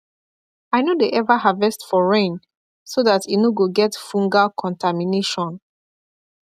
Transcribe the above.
i no dey ever harvest for rain so that e no go get fungal contamination